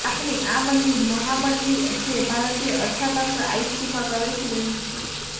ભારતની આ મંદી મહા મંદી છે અને ભારતીય આૃર્થતંત્ર આઇસીયુમાં પ્રવેશી રહ્યું છે